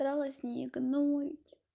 старалась не игнорить